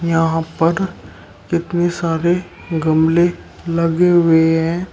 यहां पर कितने सारे गमले लगे हुए हैं।